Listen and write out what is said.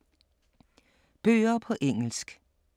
Bøger på engelsk